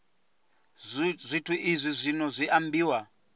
zwithu izwi zwino zwi ambiwa